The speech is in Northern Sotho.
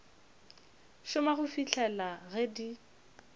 šoma go fihlela ge di